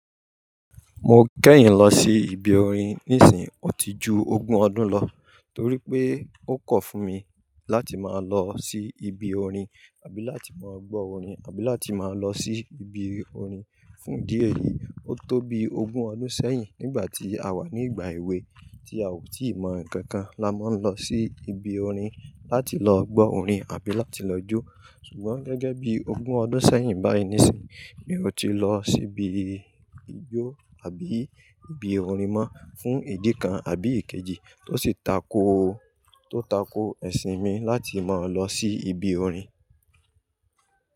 Mo kẹ́yin lọ sí ibi orin nísinyìí, ó ti ju ogún ọdún lọ, torí pé ó kọ̀ fún mi láti máa lọ sí ibi orin àbí láti máa gbọ́ orin àbí láti máa lọ sí ibi orin fún ìdí èyí. Ó tó bi ogún ọdún sẹ́yìn nígbà tí a wà ní ìgbà èwe tí a ò tí ì mọ ǹkan kan, la máa ń lọ sí ibi orin láti lọ gbọ́ orin àbí láti lọ jó. Sugbon gẹ́gẹ́ bí ogún ọdún sẹ́yìn báyìí nísìí mi ò ti lọ sí ibi ijó àbí ibi orin mọ́ fún ìdí kan àbí èkejì tó sì tako, tó tako ẹ̀sìn mi láti máa lọ sí ibi orin.